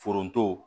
Foronto